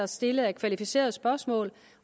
stillet af kvalificerede spørgsmål